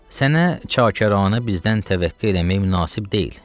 Sənə çakarana bizdən təvəqqə eləmək münasib deyil.